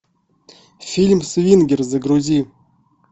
фильм свингер загрузи